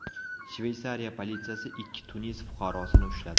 Shveysariya politsiyasi ikki Tunis fuqarosini ushladi.